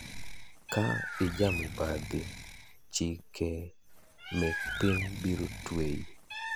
ka ijamibadhi chike mek piny biro tweyi.